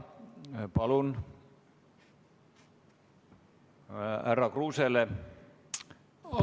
Palun mikrofon härra Kruusele!